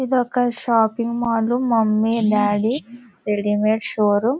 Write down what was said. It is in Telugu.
ఇది ఒక shopping mall mummy daddy readymade showroom .